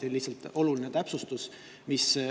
Lihtsalt, see on oluline täpsustus.